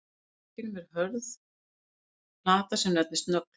Fremst á goggnum er hörð plata sem nefnist nögl.